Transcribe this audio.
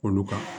Olu kan